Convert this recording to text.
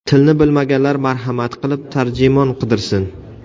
Tilni bilmaganlar marhamat qilib tarjimon qidirsin.